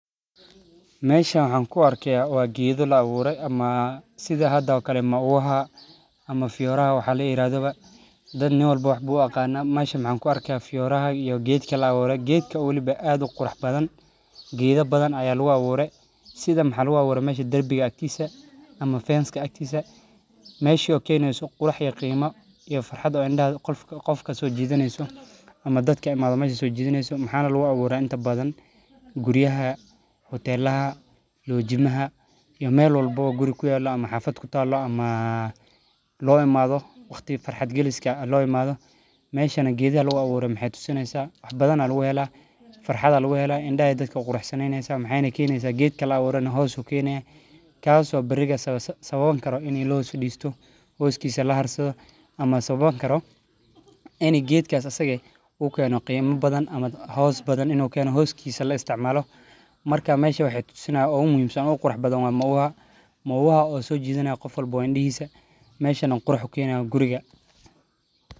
Meeshan waxa ku arkiyaa waa geedo la abuuray amma sidaha dawo kale maua haa amma flower ha waxaa la yiraahdo. Dad ney walbo wuxuu buuqaanaa meeshan maxa kuarka fiyoraha iyo geedka la abuuray geedka ula aad u qurux badan. Geeda badan ayaa looga abuuray sida maeeshi darbiga aagtiisa ama fence aagtiisa. Meeyshi oo kay neyso qurux iyo qiimo iyo farxad oo indhaha qolka qofka soo jiidaneysu ama dadka imaadho so jiidaneysu. Maxaan lagugu abuuray inta badan guriyaha, hoteelaha, loojimaha iyo meelo walbo wa guri ku yaalo ama xafad ku taalo ama loo imaado waqti farxad geliski ah loo imaado. Meeshan geediya lugu abuuray maxay tusinaysa badan alwa hela farxad alwa hela indha eedka qurxinaysa maxayn keyneysa geedka la abuuray hoos ukinaya kaasoo bariga sababan karo inay loo diistoo hoos kiise la harsado ama sababan karo. Inadi geedke kaas asagay uu keeno qiimo badan ama hoos badan inuu keeno hoos kiise la isticmalamo markaa may shan waxee tusinaa u muhiimsan oo qurux badan oo maua ha oo soo jiidanaya qof walba oo indhahiiyey may shan quruxo keenayo guriga.